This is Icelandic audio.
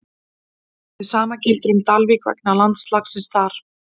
Hið sama gildir um Dalvík vegna landslagsins þar í kring.